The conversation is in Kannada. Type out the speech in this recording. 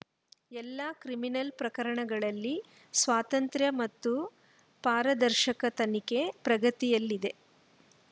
ಎಲ್ಲಾ ಕ್ರಿಮಿನಲ್‌ ಪ್ರಕರಣಗಳಲ್ಲಿ ಸ್ವತಂತ್ರ ಮತ್ತು ಪಾರದರ್ಶಕ ತನಿಖೆ ಪ್ರಗತಿಯಲ್ಲಿದೆ